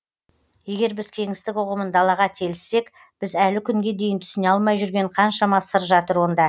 егер біз кеңістік ұғымын далаға телісек біз әлі күнге дейін түсіне алмай жүрген қаншама сыр жатыр онда